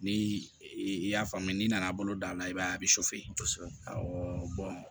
Ni i y'a faamu n'i nana bolo da a la i b'a ye a bɛ kosɛbɛ ɔ